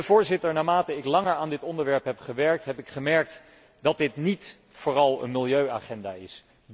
Voorzitter, naarmate ik langer aan dit onderwerp heb gewerkt, heb ik gemerkt dat dit niet vooral een milieuagenda is.